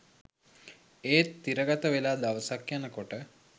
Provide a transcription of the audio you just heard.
ඒත් තිරගතවෙලා දවසක් යනකොට